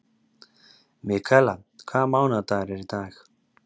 Mikaela, hvaða mánaðardagur er í dag?